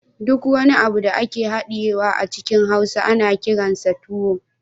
Duk wani abu da ake hadiyewa a cikin hausa ana kiransa tuwo